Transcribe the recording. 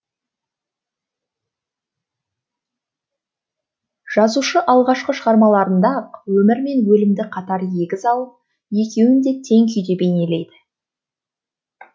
жазушы алғашқы шығармаларында ақ өмір мен өлімді қатар егіз алып екеуін де тең күйге бейнеледі